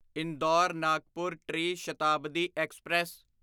ਇੰਦੌਰ ਨਾਗਪੁਰ ਟਰੀ ਸ਼ਤਾਬਦੀ ਐਕਸਪ੍ਰੈਸ